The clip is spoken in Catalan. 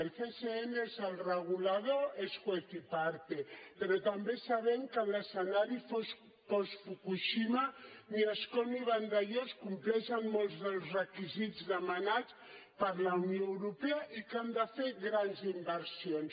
el csn és el regulador és juez y partetambé sabem que en l’escenari post fukushima ni ascó ni vandellòs compleixen molts dels requisits demanats per la unió europea i que han de fer grans inversions